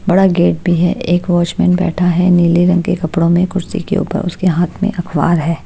बड़ा गेट भी है एक वॉचमेन में बैठा है नीले रंग के कपड़ों में कुर्सी के ऊपर उसके हाथ में अखबार है।